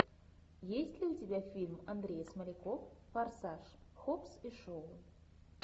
есть ли у тебя фильм андрей смоляков форсаж хоббс и шоу